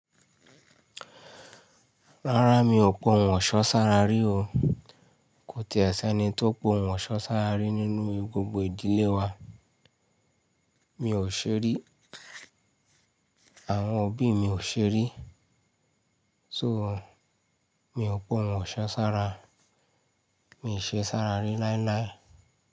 Rárá, mi ò pa òhùn ọ̀ṣọ́ sára rí o. Kò ti è sẹ́ni tó pa òhùn ọ̀ṣọ́ sára rí nínú gbogbo ìdílé wa. Mi ò ṣeri, àwọn òbí mi ò ṣeré, so mi ò pòhùn ọ̀ṣọ́ sára, mi ò ṣe sára rí láíláí.